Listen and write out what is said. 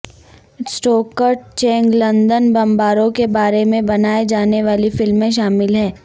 سٹوکرڈ Channing London بمباروں کے بارے میں بنائے جانے والی فلم میں شامل ہیں